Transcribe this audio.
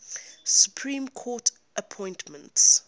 supreme court appointments